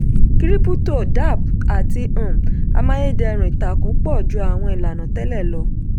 krípútò dapps àti um amáyédẹrùn ìtàkùn pọ̀ ju àwọn ilànà tẹ́lẹ̀ lọ.